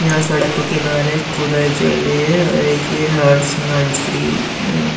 यहाँ सड़क के किनारे खुदाई चल रही है और ये एक हर्ष नर्सरी ।